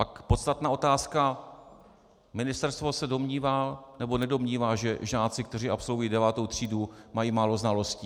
Pak podstatná otázka: Ministerstvo se domnívá, nebo nedomnívá, že žáci, kteří absolvují devátou třídu, mají málo znalostí?